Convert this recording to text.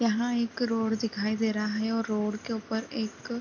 यहाँ एक रोड दिखाई दे रहा है और रोड के ऊपर एक--